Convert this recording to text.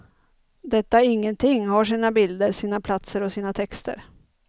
Detta ingenting har sina bilder, sina platser och sina texter.